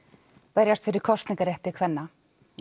berjast fyrir kosningarétti kvenna